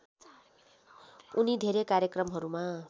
उनी धेरै कार्यक्रमहरूमा